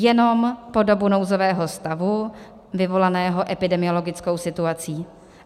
Jenom po dobu nouzového stavu vyvolaného epidemiologickou situací.